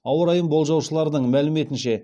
ауа райын болжаушылардың мәліметінше